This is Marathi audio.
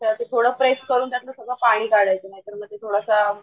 त्यावेळेस ते थोडा प्रेस करून त्यातलं सगळं पाणी काढायचं नाहीतर मग ती थोडासा